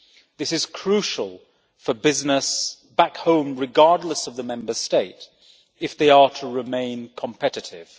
This is crucial for business back home, regardless of the Member State, if they are to remain competitive.